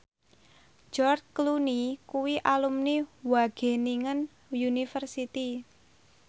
George Clooney kuwi alumni Wageningen University